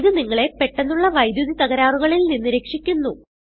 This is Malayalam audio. ഇത് നിങ്ങളെ പെട്ടന്നുള്ള വൈദ്യുതി തകരാറുകളിൽ നിന്ന് രക്ഷിക്കുന്നു